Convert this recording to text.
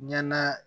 Ɲɛna